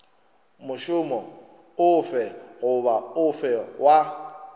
mošomo ofe goba ofe wa